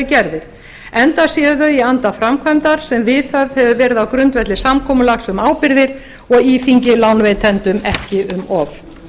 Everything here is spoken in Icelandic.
gerðir enda séu þau í anda framkvæmdar sem viðhaft verið á grundvelli samkomulags um ábyrgðir og íþyngir lánveitendum ekki um of